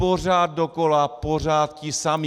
Pořád dokola, pořád ti samí.